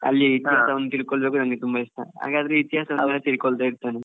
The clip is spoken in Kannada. ತಿಕೊಳ್ಳೋದು ಅಂದ್ರೆ ನಂಗೆ ತುಂಬಾ ಇಷ್ಟ ಹಾಗಾದ್ರೆ ಇತಿಹಾಸ ಎಲ್ಲ ತಿಳ್ಕೊಳ್ತಾ ಇರ್ತೇನೆ.